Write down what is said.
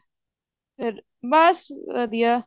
ਬਸ ਵਧੀਆ